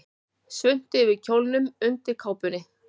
Svuntu yfir kjólnum undir kápunni.